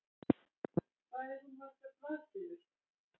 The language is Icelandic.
Hvað er hún margar blaðsíður?